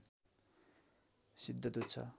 सिद्धदूत छ